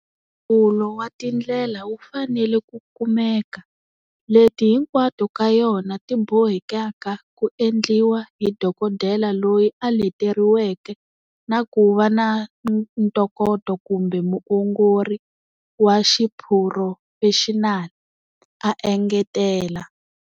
Nhlawulo wa tindlela wu fanele ku kumeka, leti hinkwato ka yona ti bohekaka ku endliwa hi dokodela loyi a leteriweke na ku va na ntokoto kumbe muongori wa xiphurofexinali, a engetela.